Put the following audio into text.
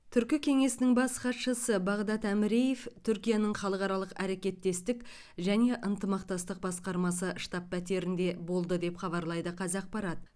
түркі кеңесінің бас хатшысы бағдад әміреев түркияның халықаралық әрекеттестік және ынтымақтастық басқармасы штаб пәтерінде болды деп хабарлайды қазақпарат